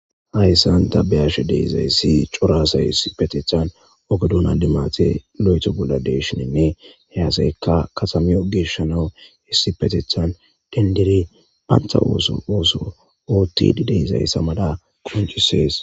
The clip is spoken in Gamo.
hayssan dabbeyashe deizayssi coraasa hissipetethan ogedun a limate lo7eto bolla deshininne heyasaykka katamiyo geshshanawu hissipetethan dendere pantha ooso ooso oothtidi deyzayssa mada qoncisees